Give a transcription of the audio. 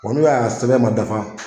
Wa n'u ya a sɛbɛn man dafa.